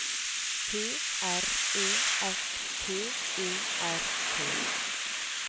P R E S T E R T